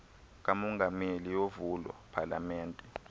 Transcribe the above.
kamongameli yovulo palamente